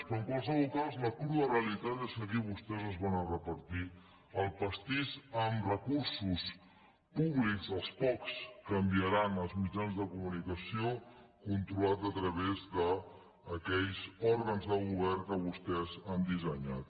però en qualsevol cas la crua realitat és que aquí vostès es van a repartir el pastís amb recursos públics els pocs que enviaran als mitjans de comunicació controlats a través d’aquells òrgans de govern que vostès han dissenyat